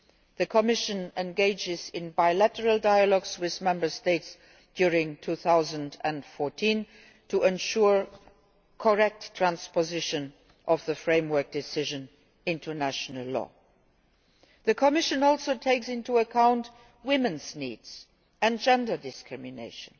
The Commission will engage in bilateral dialogues with Member States during 2014 to ensure correct transposition of the Framework Decision into national law. The Commission takes into account women's needs and gender discrimination.